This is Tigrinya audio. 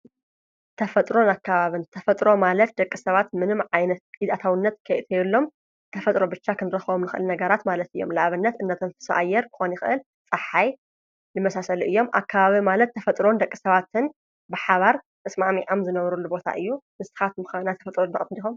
ተፈጥሮን ኣካባብን፡- ተፈጥሮ ማለት ደቂ ሰባት ምንም ዓይነት ኢድ ኣእታውነት ከየእተየሎም ተፈጥሮ ብቻ ኽንረኸም ንኽአል ነጋራት ማለት እዮም፡፡ ንኣብነት እነተንፍሶ ኣየር ክኾን ይኽእል ፣ ፀሓይ ዝመሳሰሉ እዮም፡፡ ኣካባብን ማለት ተፈጥሮን ደቂ ሰባትን ብሓባር ተስማዕሚዓም ዝነብሩሉቦታ እዩ፡፡ ንስኻትኩም ኸ ናይ ተፈጥሮ ተጠቀምቲ ዲኹም?